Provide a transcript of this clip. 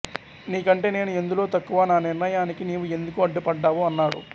నీ కంటే నేను ఎందులో తక్కువ నా నిర్ణయానికి నీవు ఎందుకు అడ్డుపడ్డావు అన్నాడు